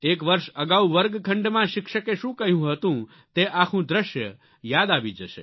એક વર્ષ અગાઉ વર્ગખંડમાં શિક્ષકે શું કહ્યું હતું તે આખું દ્રશ્ય યાદ આવી જશે